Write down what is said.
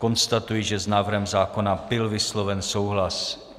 Konstatuji, že s návrhem zákona byl vysloven souhlas.